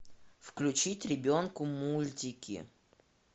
включить ребенку мультики